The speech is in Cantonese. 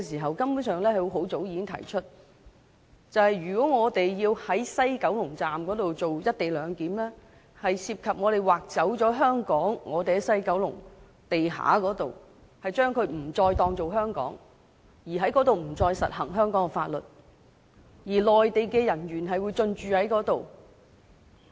我們很早已經提出在西九龍站實施"一地兩檢"如同"劃走"香港，因為西九龍站地下某範圍將視為處於香港以外，香港法律再不適用，而內地人員亦會進駐該範圍。